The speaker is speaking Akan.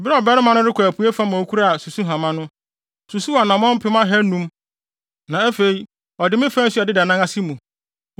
Bere a ɔbarima no rekɔ apuei fam a okura susuhama no, osusuw anammɔn apem ahannum (500,000), na afei ɔde me faa nsu a ɛdeda nan ase mu.